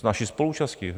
S naší spoluúčastí.